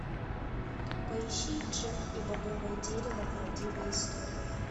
поищи джек и бобовое дерево правдивая история